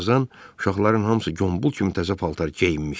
Bir azdan uşaqların hamısı Gombul kimi təzə paltar geyinmişdi.